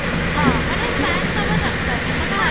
ହଁ, ମାନେ fan ଦେବା ଦରକାର ନାହିଁ, ତୋମେ ଆରାମ